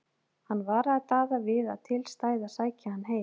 Hann varaði Daða við að til stæði að sækja hann heim.